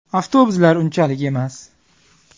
Avtobuslar unchalik emas.